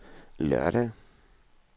lørdag